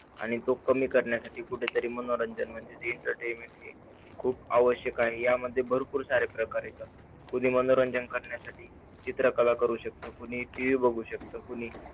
आणि तो कमी करण्यासाठी कुठेतरी मनोरंजन म्हणजे entertainment हे खूप आवश्यक आहे. यामध्ये भरपूर सारे प्रकार येतात. कोणी मनोरंजन करण्यासाठी चित्रकला करू शकतो. कोणी TV पाहू शकता. कोणी